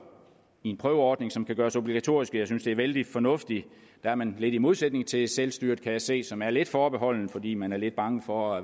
i en prøveordning som kan gøres obligatorisk at jeg synes det er vældig fornuftigt der er man lidt i modsætning til selvstyret kan jeg se som er lidt forbeholden fordi man er lidt bange for